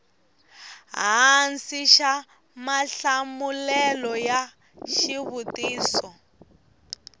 hansi xa mahlamulelo ya xivutiso